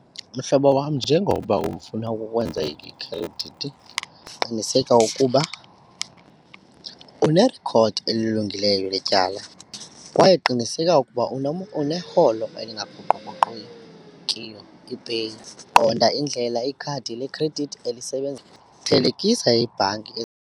Mhlobo wam njengoba ufuna ukwenza ikhredithi qiniseka ukuba unerikhodi elilungileyo letyala kwaye qiniseka ukuba uneholo elingaguquguqukiyo ipeyi, qonda indlela ikhadi lekhredithi elisebenza, thelekisa ibhanki .